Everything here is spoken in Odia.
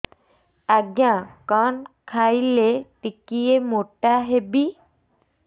ଆଜ୍ଞା କଣ୍ ଖାଇଲେ ଟିକିଏ ମୋଟା ହେବି